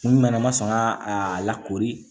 N nana n ma sɔn ka a lakori